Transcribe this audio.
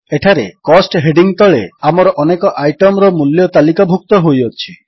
ଏଠାରେ cost heading ତଳେ ଆମର ଅନେକ ଆଇଟମ୍ ର ମୂଲ୍ୟ ତାଲିକାଭୁକ୍ତ ହୋଇଅଛି